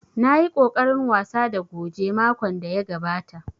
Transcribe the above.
Na yi ƙoƙarin wasa da goge makon da ya gabata